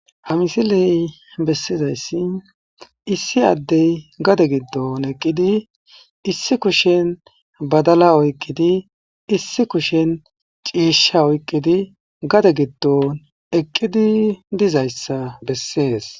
ha misiley bessizayssi issi addey gade giddon eqqidi issi kushen badala oyqqidi issi kushen ciisha oyqqidi gade giddon eqqidi dizayssa bessees